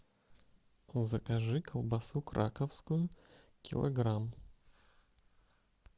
закажи колбасу краковскую килограмм